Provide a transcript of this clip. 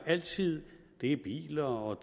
altid i biler og